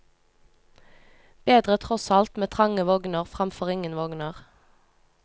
Bedre tross alt med trange vogner fremfor ingen vogner.